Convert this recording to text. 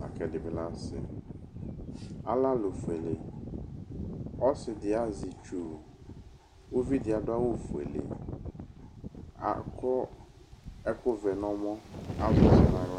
lakʋ ɛdibi lɛ asi alɛ alʋ fuele ɔsidi azɛ itsʋ uvidi adʋ awʋfuele ewʋ ɛkʋvɛ nʋ ɔmɔ azɛ ɔsi nʋ aɣla